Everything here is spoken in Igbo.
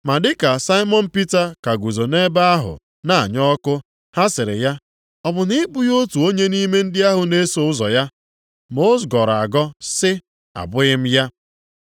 Ma dịka Saimọn Pita ka guzo nʼebe ahụ na-anya ọkụ, ha sịrị ya, “Ọ bụ na ị bụghị otu onye nʼime ndị na-eso ụzọ ya?” Ma ọ gọrọ agọ sị, “Abụghị m ya.”